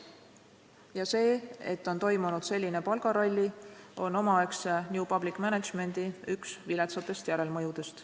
Ja see, et on toimunud selline palgaralli, on üks omaaegse new public management'i viletsatest järelmõjudest.